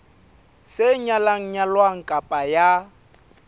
sa nyalang nyalwang kapa ya